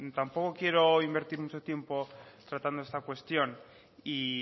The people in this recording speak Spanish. tampoco quiero invertir mucho tiempo tratando esta cuestión y